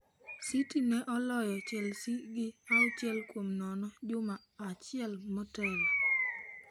City ne oloyo Chelsea gi auchiel kuom nono juma achiel motelo.